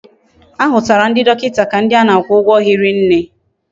Ahutara ndi dokinta ka ndi ana akwu ugwo hiri nne